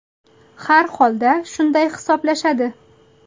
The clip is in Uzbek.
Har holda shunday hisoblashadi.